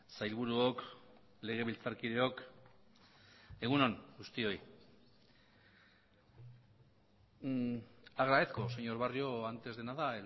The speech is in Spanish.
sailburuok legebiltzarkideok egun on guztioi agradezco señor barrio antes de nada